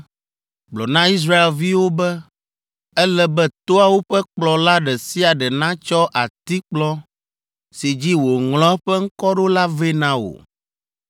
“Gblɔ na Israelviwo be, ‘Ele be toawo ƒe kplɔla ɖe sia ɖe natsɔ atikplɔ si dzi wòŋlɔ eƒe ŋkɔ ɖo la vɛ na wò.